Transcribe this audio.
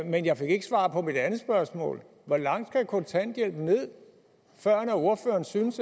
men jeg fik ikke svar på mit andet spørgsmål hvor langt skal kontanthjælpen ned førend ordføreren synes